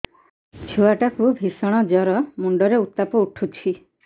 ଛୁଆ ଟା କୁ ଭିଷଣ ଜର ମୁଣ୍ଡ ରେ ଉତ୍ତାପ ଉଠୁଛି